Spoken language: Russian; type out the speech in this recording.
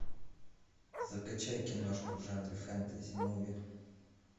закачай киношку в жанре фэнтези муви